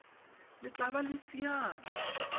le tla bo le siame